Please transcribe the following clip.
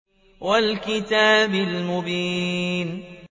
وَالْكِتَابِ الْمُبِينِ